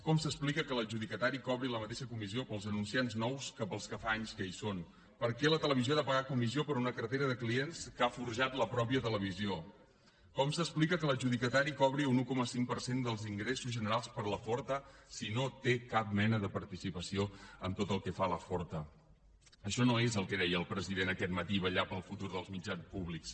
com s’explica que l’adjudicatari cobri la mateixa comissió pels anunciants nous que pels que fa anys que hi són per què la televisió ha de pagar comissió per una cartera de clients que ha forjat la mateixa televisió com s’explica que l’adjudicatari cobri un un coma cinc per cent dels ingressos generats per la forta si no té cap mena de participació en tot el que fa la forta això no és el que deia el president aquest matí vetllar pel futur dels mitjans públics